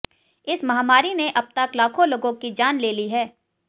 इस महामारी ने अब तक लाखों लोगों की जान ले ली है